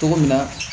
Cogo min na